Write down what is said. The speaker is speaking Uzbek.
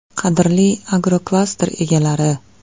Qadrli agroklaster egalari!